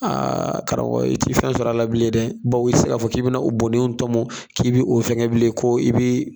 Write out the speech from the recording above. Aa a karamɔgɔ i ti fɛn sɔrɔ a la bilen dɛ baw i ti se ka fɔ k'i be na o bonnen in tɔmɔ k'i bi o fɛngɛ bilen ko i bii